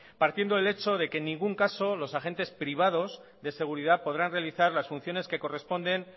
partiendo del hecho de que en ningún caso los agentes privados de seguridad podrán realizar las funciones que corresponden